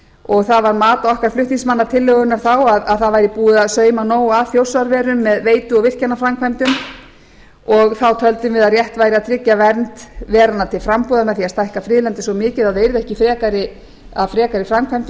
og það var mat okkar flutningsmanna tillögunnar þá að það væri búið að sauma nóg að þjórsárverum með veitu og virkjunarframkvæmdum og þá töldum við að rétt væri að tryggja vernd veranna til frambúðar með því að stækka friðlandið svo mikið að það yrði ekki af frekari framkvæmdum